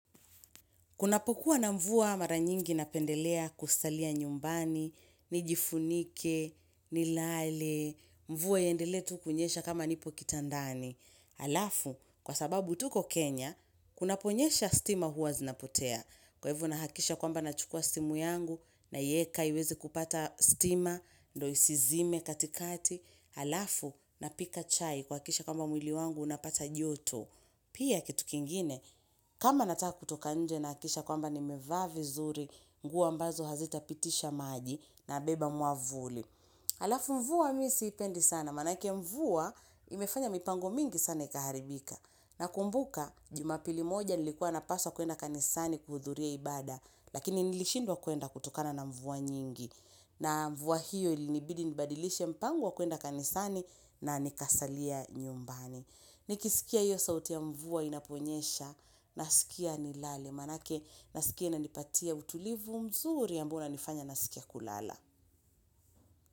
Kunapokuwa na mvua mara nyingi napendelea kusalia nyumbani, nijifunike, nilale, mvua iendelee tu kunyesha kama nipo kitandani. Alafu, kwa sababu tuko Kenya, kunaponyesha stima huwa zinapotea. Kwa ivo nahakikisha kwamba nachukua simu yangu, naiyeka iweze kupata stima, ndo isizime katikati. Halafu, napika chai kuhakikisha kwamba mwili wangu unapata joto. Pia kitu kingine, kama nataka kutoka nje nahakikisha kwamba nimevaa vizuri, nguo ambazo hazita pitisha maji nabeba mwavuli. Halafu mvua mimi siipendi sana, manake mvua imefanya mipango mingi sana ikaharibika. Nakumbuka, jumapili moja nilikuwa napaswa kuenda kanisani kuhudhuria ibada, lakini nilishindwa kuenda kutokana na mvua nyingi. Na mvua hiyo ilinibidi nibadilishe mpango wa kuenda kanisani na nikasalia nyumbani. Nikisikia hiyo sauti ya mvua inaponyesha nasikia nilale manake nasikia inanipatia utulivu mzuri ambao unanifanya nasikia kulala.